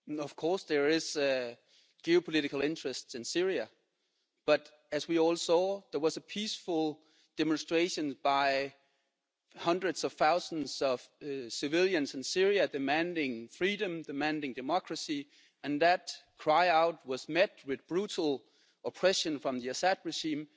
Of course there is due political interest in Syria, but as we all saw, there was a peaceful demonstration by hundreds of thousands of civilians in Syria demanding freedom and democracy, and that cry for help was met with brutal oppression from the Assad regime.